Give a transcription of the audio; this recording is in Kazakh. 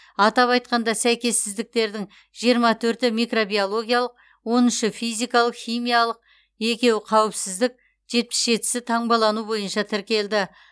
атап айтқанда сәйкессіздіктердің жиырма төрті микробиологиялық он үші физикалық химиялық екеуі қауіпсіздік жетпіс жетісі таңбалану бойынша тіркелді